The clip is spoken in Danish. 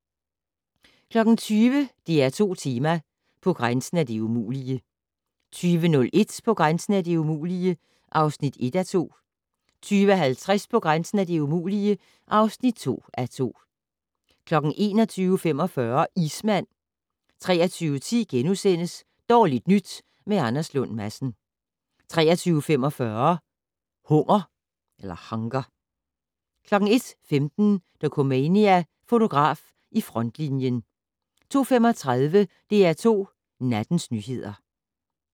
20:00: DR2 Tema: På grænsen af det umulige 20:01: På grænsen af det umulige (1:2) 20:50: På grænsen af det umulige (2:2) 21:45: Ismand 23:10: Dårligt nyt med Anders Lund Madsen * 23:45: Hunger 01:15: Dokumania: Fotograf i frontlinjen 02:35: DR2 Nattens nyheder